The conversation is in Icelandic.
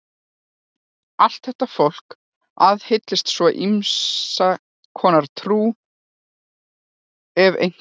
Allt þetta fólk aðhyllist svo ýmiss konar trú, ef einhverja.